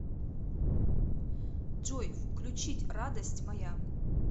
джой включить радость моя